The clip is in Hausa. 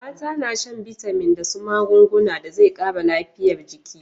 Mata na shan bitamin da su magunguna da zai kara lafiyar jiki